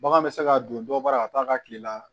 Bagan bɛ se ka don dɔ baara ka taa ka tile la